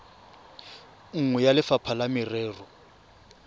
nngwe ya lefapha la merero